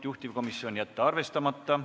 Juhtivkomisjoni otsus: jätta arvestamata.